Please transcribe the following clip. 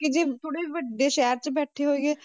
ਕਿ ਜੇ ਥੋੜ੍ਹੇ ਵੱਡੇ ਸ਼ਹਿਰ 'ਚ ਬੈਠੇ ਹੋਈਏ,